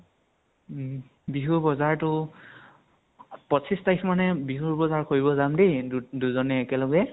উম বিহুৰ বজাৰটো পঁচিছ তাৰিখ মানে বিহুৰ বজাৰ কৰিব যাম দেই দু দুজনে একেলগে।